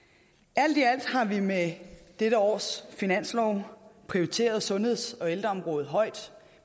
alt i alt har vi med dette års finanslov prioriteret sundheds og ældreområdet højt